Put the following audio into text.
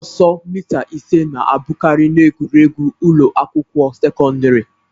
Ọsọ mita ise na-abụkarị n'egwuregwu ụlọ akwụkwọ sekọndrị